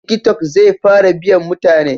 Tiki tok zai fara biyan mutane